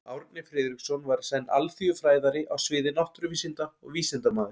Árni Friðriksson var í senn alþýðufræðari á sviði náttúruvísinda og vísindamaður.